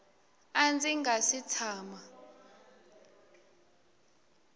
a ndzi nga si tshama